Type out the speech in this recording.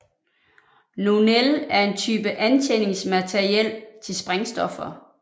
Nonel er en type antændingsmateriel til sprængstoffer